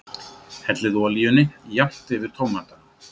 Hellið olíunni jafnt yfir tómatana.